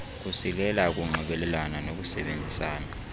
kusilela ukunxibelelana nokusebenzisana